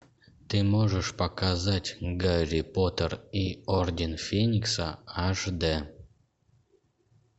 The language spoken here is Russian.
ты можешь показать гарри поттер и орден феникса аш д